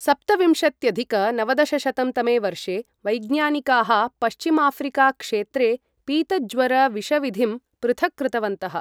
सप्तविंशत्यधिक नवदशशतं तमे वर्षे, वैज्ञानिकाः पश्चिमाफ्रिकाक्षेत्रे पीतज्वरविषविधिं पृथक्कृतवन्तः।